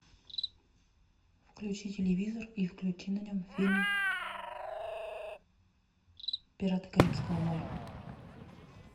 включи телевизор и включи на нем фильм пираты карибского моря